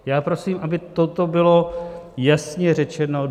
Já prosím, aby toto bylo jasně řečeno.